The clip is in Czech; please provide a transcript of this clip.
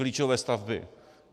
Klíčové stavby.